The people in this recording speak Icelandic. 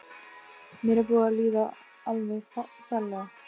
Mér er búið að líða alveg ferlega.